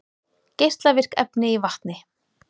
Geislavirk efni í vatni